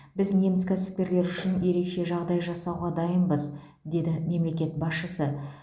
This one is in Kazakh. біз неміс кәсіпкерлері үшін ерекше жағдай жасауға дайынбыз деді мемлекет басшысы